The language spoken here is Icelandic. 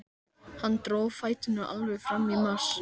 Hann dró fæturna alveg fram í mars.